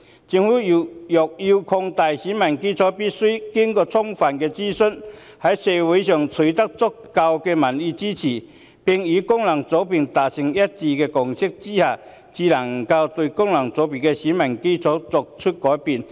政府若要擴大選民基礎，必須先經過充分諮詢，在社會上取得足夠民意支持，並與各功能界別達成一致共識之下，才能改變功能界別的選民基礎。